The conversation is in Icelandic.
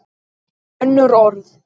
Önnur orð.